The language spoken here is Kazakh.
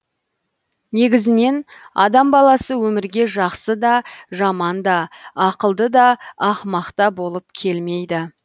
негізінен адам баласы өмірге жақсы да жаман да ақылды да ақымақ та болып келмейді